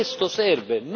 Questo serve!